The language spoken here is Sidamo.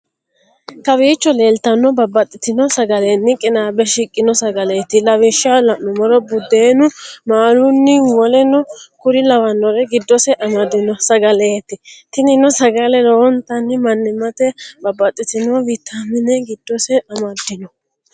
Kawicho lelitano babatitino sagaleni qinabe shikino sagaleti lawishao lanumoro; budenunni, maluni woleno kuri lawanore gidosi amadino sagaleti tinino sagale lowonitani manimate babatitino vitamine gidose amadino